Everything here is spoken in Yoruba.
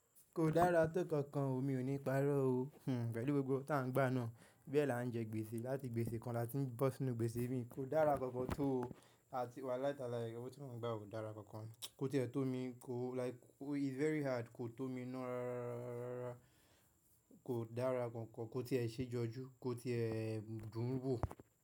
Kò dára tó kankan o, mi ò ní parọ́ o. Hmm, pẹ̀lú gbogbo tá ń gbà náà, bẹ́ là ń jẹ gbèsè láti gbèsè kan láti bò sí nù gbèsè mi, kò dára kankan tó o. À ti wa láì tá láì, irọ́ tí mo ń gbà kò dára kankan. Kò tí è tó mi, kò like it's very hard, kò tó mi ná ráráá rárá. Kò dára kankan, kò tí è ṣe jọjú, kò tí è dùn wó.